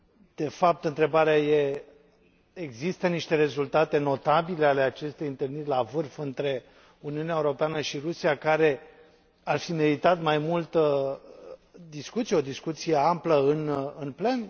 De fapt, întrebarea este există niște rezultate notabile ale acestei întâlniri la vârf între Uniunea Europeană și Rusia, care ar fi meritat mai multă discuție, o discuție amplă în plen?